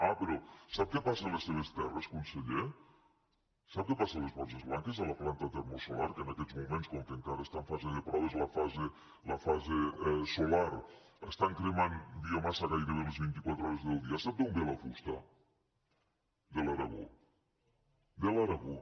ah però sap què passa a les seves terres conseller sap què passa a les borges blanques a la planta termosolar que en aquests moments com que encara està en fase de proves la fase solar hi cremen biomassa gairebé les vint i quatre hores del dia sap d’on ve la fusta de l’aragó de l’aragó